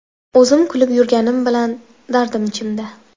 O‘zim kulib yurganim bilan, dardim ichimda.